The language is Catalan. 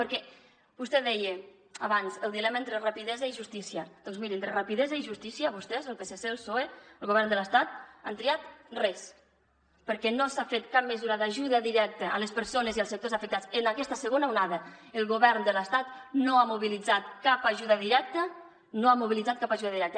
perquè vostè deia abans el dilema entre rapidesa i justícia doncs miri entre rapidesa i justícia vostès el psc el psoe el govern de l’estat han triat res perquè no s’ha fet cap mesura d’ajuda directa a les persones i els sectors afectats en aquesta segona onada el govern de l’estat no ha mobilitzat cap ajuda directa no ha mobilitzat cap ajuda directa